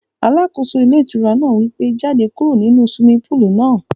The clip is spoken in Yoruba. Alákóso ilé ìtura náà wí pé, jáde kúrò nínu swimming pool náà